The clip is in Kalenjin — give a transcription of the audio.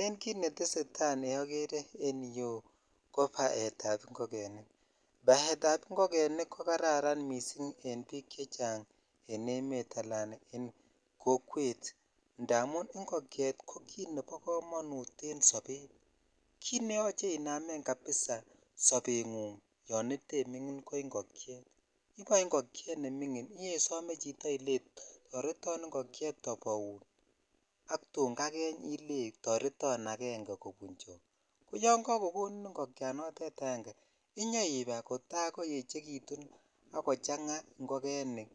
Ele kit netesetai neokere en yuu ko baet ab ingogenik battery ab ingogenik ko karan missing en bik chechang en emet ala en kokwet indamun ingogenik ko kit nebo komonut en sobet kit ne yoche inamen kabisa sobengung yon itemingin ko ingokyet iboe ingokyet nemingin ibesome chito ile toreton ingokyet aboun ak tun kakeny ile toreton aenge kobunchon ko yon kakokonin ingokyanotet aenge inyoibai kota koechekitun ak kochang ingogenik